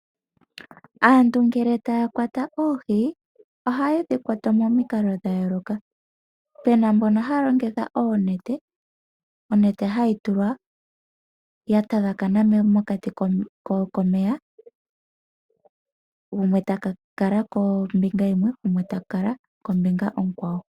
Aantu ngele taya kwata oohi ohayedhi kwata momikalo dha yooloka, puna mbono haya longitha oonete, onete ohayi tulwa ya tagakana mokati komeya gumwe ta kala kombinga yimwe, gumwe ta kala kombinga onkwawo.